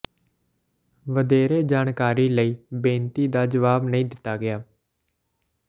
ਵਧੇਰੇ ਜਾਣਕਾਰੀ ਲਈ ਬੇਨਤੀ ਦਾ ਜਵਾਬ ਨਹੀਂ ਦਿੱਤਾ ਗਿਆ